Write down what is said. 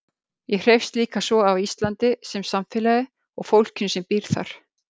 Ég hreifst líka svo af Íslandi sem samfélagi og fólkinu sem býr þar.